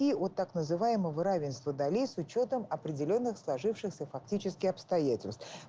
и вот так называемого равенства долей с учётом определённых сложившихся фактически обстоятельств